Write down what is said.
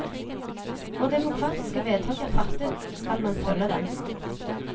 Når demokratiske vedtak er fattet, skal man følge dem.